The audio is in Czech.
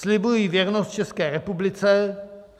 "Slibuji věrnost České republice.